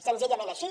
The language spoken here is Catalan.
senzillament així